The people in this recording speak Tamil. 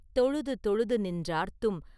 தொழுது தொழுது நின்றார்த்தும்!